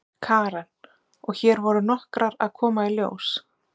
Karen: Og hér voru nokkrar að koma í ljós?